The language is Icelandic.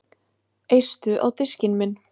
Eistu á diskinn minn